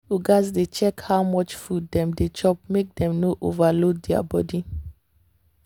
people gats dey check how much food dem dey chop make dem no overload their body.